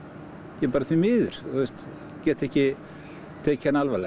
ja bara því miður get ekki tekið hana alvarlega